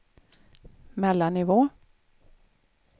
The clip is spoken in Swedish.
mellannivå